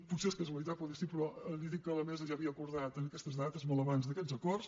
potser és casualitat poder sí però li dic que la mesa ja havia acordat aquestes dates molt abans d’aquests acords